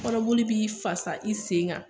Kɔnɔboli b'i fasa i sen kan